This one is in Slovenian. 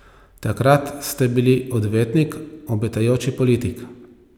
Takrat ste bili odvetnik, obetajoči politik.